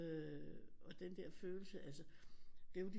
Øh og den der følelse altså det er jo de